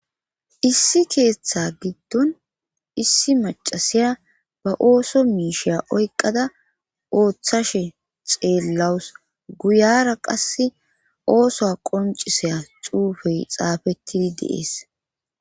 Issi keeththa giddon issi macasiya ba ooso miisheya oyqada ooththashe xeellawus guyara qass oosoa qonciseya xuufey xaafettidi deees